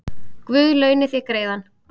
Guð launi þér greiðann